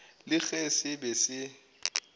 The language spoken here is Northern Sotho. le ge se be se